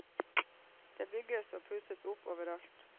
Det bygges og pusses opp overalt.